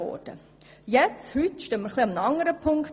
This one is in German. Nun stehen wir an einem etwas anderen Punkt.